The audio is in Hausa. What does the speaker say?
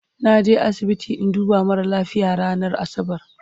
naje asibiti in duba mara lafia ranar asabar